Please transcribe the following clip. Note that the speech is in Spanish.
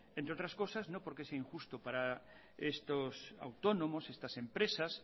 entre otras cosas no porque sea injusto para estos autónomos estas empresas